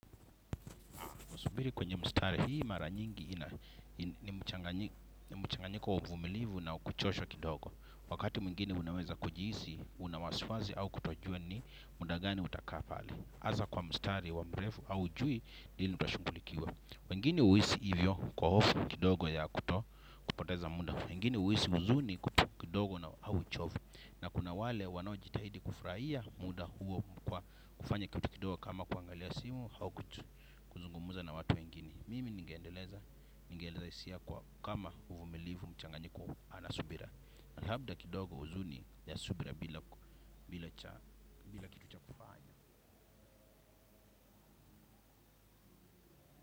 Kusubiri kwenye mstari, hii mara nyingi ni mchanganyiko wa umilivu unao kuchosha kidogo. Wakati mwigine unaweza kujihisi, una waswazi au kutojua ni muda gani utakaa pale. Hasa kwa mstari, wa mrefu haujui, lini utashughulikiwa. Wengine huhisi hivyo kwa hofu kidogo ya kupoteza muda. Wengine huhisi huzuni kuto kidogo na au uchovu. Na kuna wale wanaojitahidi kufraia muda huo kwa kufanya kitu kidogo kama kuangalia simu au kuzungumuza na watu wengine. Mimi ningeendeleza ingenirahisishia kwa kama uvumilivu mchanganyiko ana subira labda kidogo huzuni ya subira bila kitu cha.